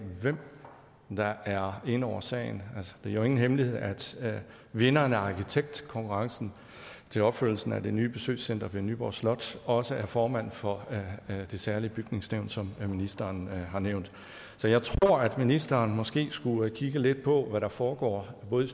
hvem der er inde over sagen det er jo ingen hemmelighed at vinderen af arkitektkonkurrencen til opførelsen af det nye besøgscenter ved nyborg slot også er formand for det særlige bygningssyn som ministeren har nævnt så jeg tror at ministeren måske skulle kigge lidt på hvad der foregår både i